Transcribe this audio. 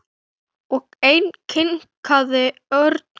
Og enn kinkaði Örn kolli.